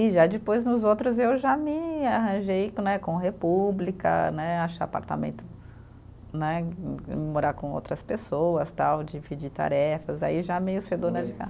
E já depois nos outros eu já me arranjei né, com República né, achar apartamento né, e e morar com outras pessoas tal, dividir tarefas, aí já meio ser dona de casa.